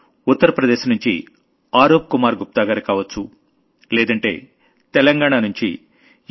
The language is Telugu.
ఉత్తర్ ప్రదేశ్ నుంచి ఆరూప్ కుమార్ గుప్తాగారు కావొచ్చు లేదంటే తెలంగాణ నుంచి ఎన్